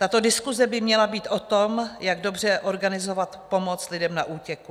Tato diskuse by měla být o tom, jak dobře organizovat pomoc lidem na útěku.